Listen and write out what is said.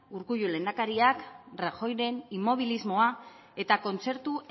urkullu lehendakariak rajoyren inmobilismoa eta kontzertu